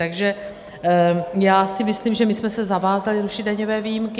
Takže já si myslím, že my jsme se zavázali rušit daňové výjimky.